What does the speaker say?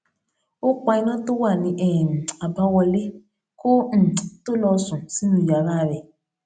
ó pa iná tó wà ní um àbáwọlé kó um tó lọ sùn sínú yàrá rè